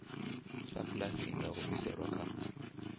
sapulasi i nga humiselwa kha